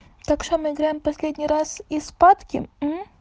так что мы играем в последний раз и спатки